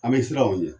An bɛ siran o ɲɛ